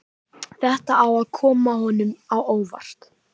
Þetta á að koma honum á óvart.